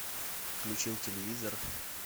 включил телевизор